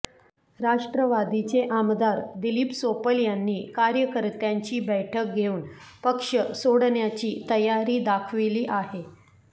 राष्ट्रवादीचे आमदार दिलीप सोपल यांनी कार्यकर्त्यांची बैठक घेऊन पक्ष सोडण्याची तयारी दाखविली आहे